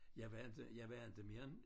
Jeg var inte jeg var inte mere end